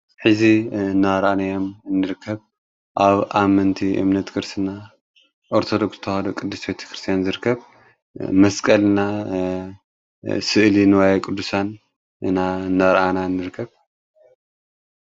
ሕዚ እናርኣንዮም እንርከብ ኣብ ኣመንቲ እምነት ክርስና ኦርተዶክስ ተዋሃዶ ቅዱስ ቤተ ክርስቲያን ዝርከብ መስቀልና ስእል ንዋይ ቅዱሳን እና ነርኣና እንርከብ